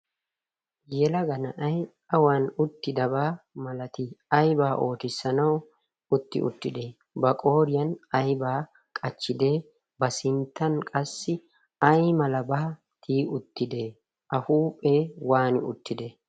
yelagana ay awan uttidabaa malatii aybaa ootissanawu utti uttide ba qooriyan aibaa qachchidee ba sinttan qassi ai mala baatii uttide a huuphee waani uttide?